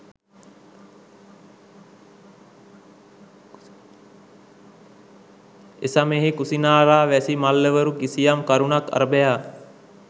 එසමයෙහි කුසිනාරාවැසි මල්ලවරු කිසියම් කරුණක් අරභයා